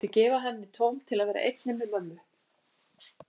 Vildi gefa henni tóm til að vera einni með mömmu.